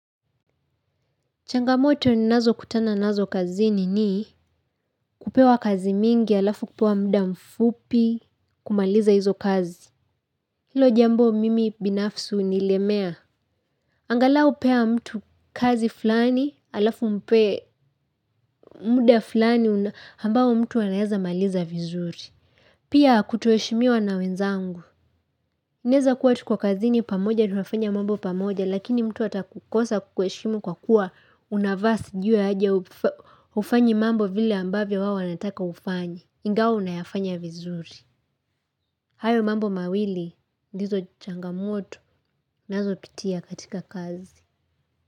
Changamoto nnazo kutana nazo kazini ni kupewa kazi mingi alafu kupewa mda mfupi kumaliza hizo kazi. Hilo jambo mimi binafsi hunilemea. Angalau pea mtu kazi fulani alafu mpe muda fulani ambao mtu anaweza maliza vizuri. Pia kutoheshimiwa na wenzangu. Inaeza kuwa tuko kazini pamoja, tunafanya mambo pamoja, lakini mtu atakukosa kukuheshimu kwa kuwa unavaa sijui aje hufanyi mambo vile ambavyo wao anataka ufanye. Ingawa unayafanya vizuri. Hayo mambo mawili, ndizo changamoto, ninazo pitia katika kazi.